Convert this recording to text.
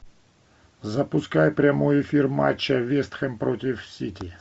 запускай прямой эфир матча вест хэм против сити